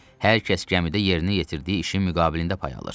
Hər kəs gəmidə yerinə yetirdiyi işin müqabilində pay alır.